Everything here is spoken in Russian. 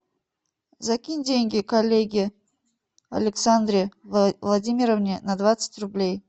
закинь деньги коллеге александре владимировне на двадцать рублей